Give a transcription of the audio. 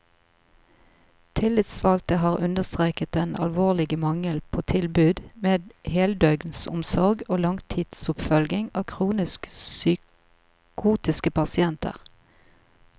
Tillitsvalgte har understreket den alvorlige mangel på tilbud med heldøgnsomsorg og langtidsoppfølging av kronisk psykotiske pasienter.